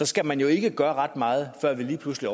skal man jo ikke gøre ret meget før vi lige pludselig